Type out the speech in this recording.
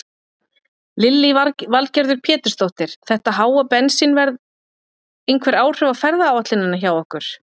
Lillý Valgerður Pétursdóttir: Þetta háa bensínverð einhver áhrif á ferðaáætlunina hjá ykkur?